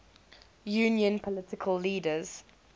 union political leaders